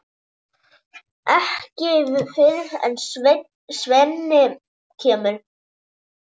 Ekki fyrr en Svenni kemur.